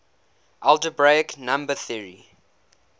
algebraic number theory